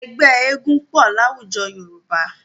Ẹgbẹ́ eégún pọ̀ láwùjọ Yorùbá.